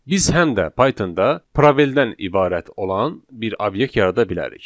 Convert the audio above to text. Biz həm də Pythonda probeldən ibarət olan bir obyekt yarada bilərik.